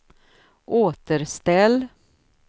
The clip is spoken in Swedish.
återställ